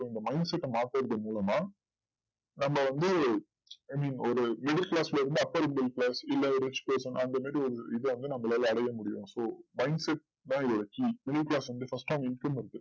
so இந்த mindset அ மாத்துறது மூலமா நம்ப வந்து எப்படி ஒரு middle class ல இருந்து upper class இல்ல ஒரு அந்தமாதிரி ஒரு இது வந்து நம்பளால அடையமுடியும் so mindset இத வச்சு